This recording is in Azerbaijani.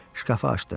Şkafı açdım.